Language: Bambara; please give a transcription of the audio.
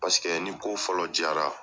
Paseke ni ko fɔlɔ diyara